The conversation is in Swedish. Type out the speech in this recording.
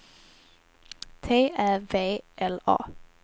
T Ä V L A